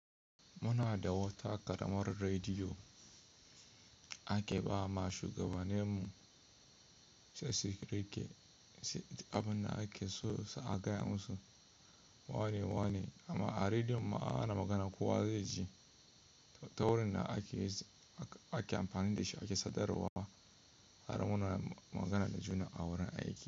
Muna da wata ƙaramar rediyo ake ba ma shugabanninmu, sai sikire abin da ake so su a gaya musu. Wane-wane, amma a rediyon ma ana magana. Kowa zai ji ta wurin da ake amfani da shi ake sadarwa har muna magana da juna a wurin aiki.